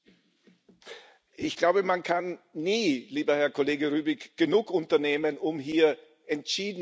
Ich glaube, man kann nie, lieber Herr Kollege Rübig, genug unternehmen, um hier entschieden vorzugehen.